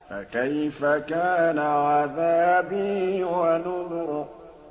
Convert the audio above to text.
فَكَيْفَ كَانَ عَذَابِي وَنُذُرِ